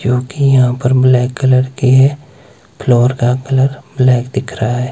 क्योंकि यहां पर ब्लैक कलर की है। फ्लोर का कलर ब्लैक दिख रहा है।